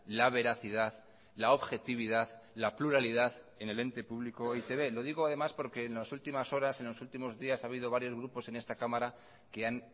la veracidad la objetividad la pluralidad en el ente público e i te be lo digo además porque en las últimas horas en los últimos días ha habido varios grupos en esta cámara que han